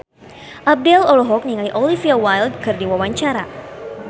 Abdel olohok ningali Olivia Wilde keur diwawancara